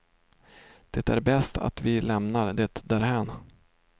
Det är bäst att vi lämnar det därhän.